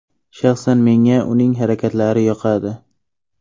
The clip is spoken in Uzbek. Shaxsan menga uning harakatlari yoqadi.